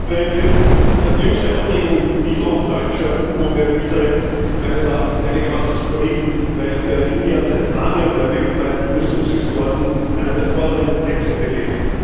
Frau Präsidentin! Die jüngste Aufregung über die Lieferung deutscher U Boote an Israel ist meines Erachtens einigermaßen skurril, weil Berlin seit langem bei weltweiten Rüstungsexporten einen der vorderen Plätze belegt.